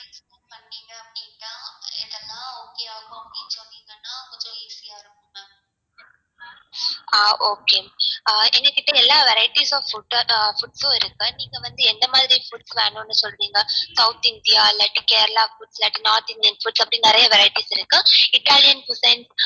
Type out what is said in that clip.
ஆ okay எங்ககிட்ட எல்லா vareitys of food உம் இருக்கு நீங்க வந்து எந்த மாதிரி food வேணும்னு சொல்றிங்க south indian ஆ இல்லாட்டி கேரளா food இல்லாட்டி north indian food அப்டி நிறைய varieties இருக்கு italian cuisine